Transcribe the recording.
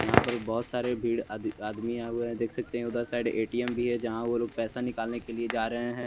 यहां पर बहोत सारे भीड़ आदि आदमी आए हुए हैं देख सकते हैं उधर साइड ए_टी_एम भी है जहां वो लोग पैसा निकालने के लिए जा रहे हैं।